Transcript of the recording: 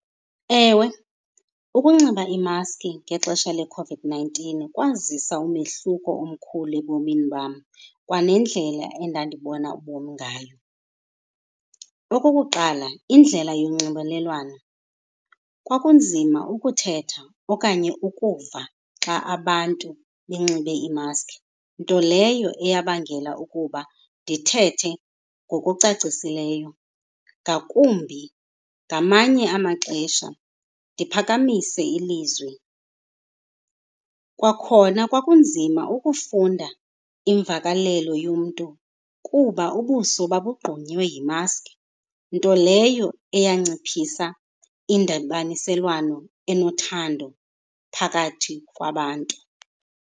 Ewe, ukunxiba imaski ngexesha leCOVID-nineteen kwazisa umehluko omkhulu ebomini bam kwa nendlela endandibona ubomi ngayo. Okokuqala, indlela yonxibelelwano. Kwakunzima ukuthetha okanye ukuva xa abantu benxibe iimaski, nto leyo eyabangela ukuba ndithethe ngokucacisileyo, ngakumbi ngamanye amaxesha ndiphakamise ilizwi. Kwakhona kwakunzima ukufunda imvakalelo yomntu kuba ubuso babugqunyiwe yimaski, nto leyo eyanciphisa indibaniselwano enothando phakathi kwabantu.